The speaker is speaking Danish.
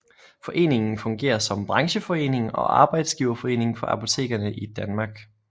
Foreningen fungerer som brancheforening og arbejdsgiverforening for apotekerne i Danmark